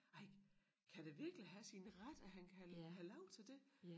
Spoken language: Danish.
Ej kan det virkelig have sin ret at han kan have lov til det